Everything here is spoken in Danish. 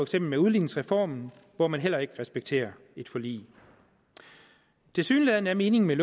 som med udligningsreformen hvor man heller ikke respekterer et forlig tilsyneladende er meningen med